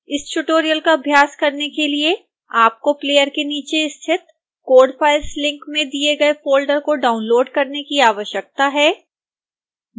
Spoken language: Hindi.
इस ट्यूटोरियल का अभ्यास करने के लिए आपको प्लेयर के नीचे स्थित code files लिंक में दिए गए फोल्डर को डाउनलोड़ करने की आवश्यकता है